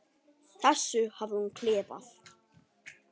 þessu hafði hún klifað.